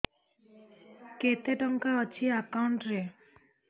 କେତେ ଟଙ୍କା ଅଛି ଏକାଉଣ୍ଟ୍ ରେ